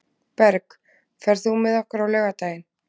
Berg, ferð þú með okkur á laugardaginn?